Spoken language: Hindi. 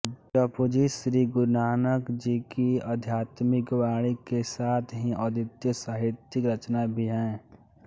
जपुजी श्री गुरुनानकजी की आध्यात्मिक वाणी के साथ ही अद्वितीय साहित्यिक रचना भी है